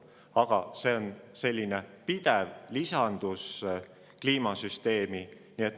Aga on pidev lisandus kliimasüsteemi.